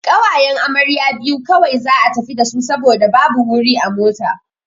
Ƙawayen amarya biyu kawai za'a tafi dasu saboda babu wuri a mota.